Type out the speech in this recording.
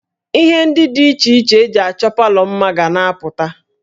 Ihe ndị dị iche iche e ji achọ palọ mma ga na-apụta